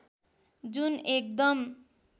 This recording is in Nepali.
जुन एकदम